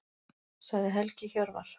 Sagði Helgi Hjörvar.